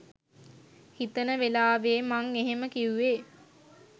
හිතන වෙලාවේ මං එහෙම කිව්වේ